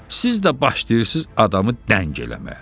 Siz də başlayırsız adamı dəng eləməyə.